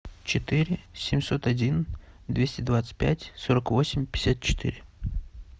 четыре семьсот один двести двадцать пять сорок восемь пятьдесят четыре